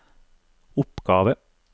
oppgave